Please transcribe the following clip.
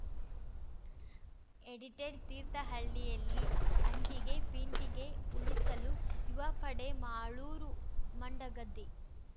edited ತೀರ್ಥಹಳ್ಳಿಯಲ್ಲಿ ಅಂಟಿಗೆ ಪಿಂಟಿಗೆ ಉಳಿಸಲು ಯುವಪಡೆ ಮಾಳೂರು ಮಂಡಗದ್ದೆ